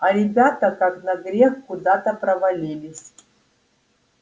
а ребята как на грех куда то провалились